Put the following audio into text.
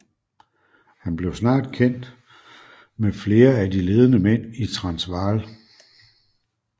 Han blev snart kendt med flere af de ledende mænd i Transvaal